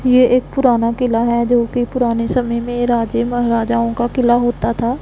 ये एक पुराना किला हैं जो पुराने समय में राजे महाराजाओं का किला होता था।